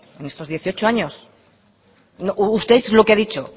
en estos dieciocho años usted es lo que ha dicho